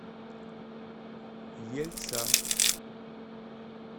ельца